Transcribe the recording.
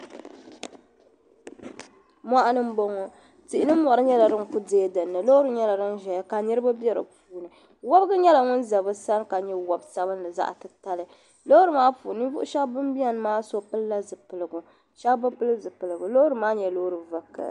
Mɔɣuni m-bɔŋɔ tihi ni mɔri nyɛla din kuli deei dini ni ka niriba be di puuni wabigu nyɛla ŋun za bɛ sani ka nyɛ wab'sabinli zaɣ'titali loori maa puuni ninvuɣshɛba ban beni maa so pilila zipiligu shɛba bi pili zipiligu loori maa nyɛla loori vakahili .